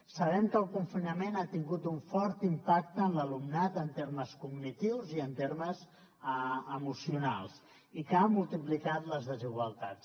sabem que el confinament ha tingut un fort impacte en l’alumnat en termes cognitius i en termes emocionals i que ha multiplicat les desigualtats